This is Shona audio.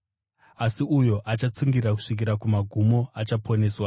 Asi uyo achatsungirira kusvikira kumagumo, achaponeswa.